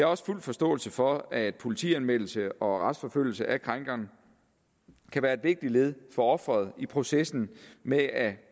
også fuld forståelse for at politianmeldelse og retsforfølgelse af krænkeren kan være et vigtigt led for offeret i processen med at